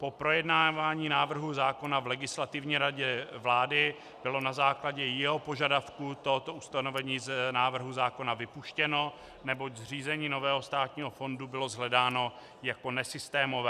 Po projednávání návrhu zákona v Legislativní radě vlády bylo na základě jeho požadavků toto ustanovení z návrhu zákona vypuštěno, neboť zřízení nového státního fondu bylo shledáno jako nesystémové.